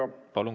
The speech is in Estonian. Palun!